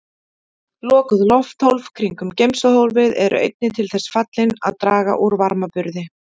Lokuð lofthólf kringum geymsluhólfið eru einnig til þess fallin að draga úr varmaburði.